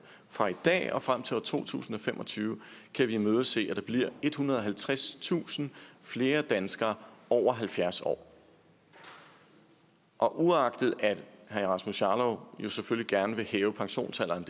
fra i dag og frem til år to tusind og fem og tyve kan vi imødese at der bliver ethundrede og halvtredstusind flere danskere over halvfjerds år og uagtet at herre rasmus jarlov selvfølgelig gerne vil hæve pensionsalderen